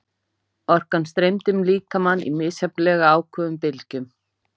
Orkan streymdi um líkamann í misjafnlega áköfum bylgjum.